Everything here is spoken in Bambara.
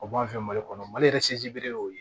O b'an fɛ mali kɔnɔ mali yɛrɛ y'o ye